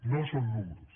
no són números